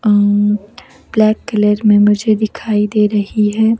अम black colour में मुझे दिखाई दे रही है।